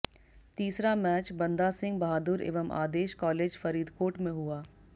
तीसरा मैच बंदा सिंह बहादुर एवं आदेश कालेज फरीदकोट में हुआ